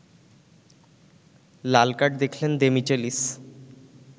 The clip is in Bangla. লালকার্ড দেখলেন দেমিচেলিস